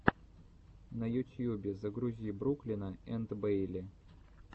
на ютьюбе загрузи бруклина энд бэйли